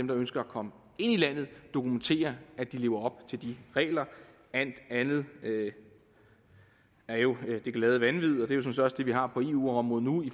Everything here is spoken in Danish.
der ønsker at komme ind i landet dokumenterer at de lever op til de regler alt andet er jo det glade vanvid det er jo sådan vi har på eu området nu i